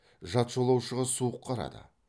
жат жолаушыға суық қарады